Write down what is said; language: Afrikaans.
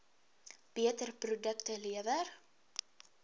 beter produkte lewer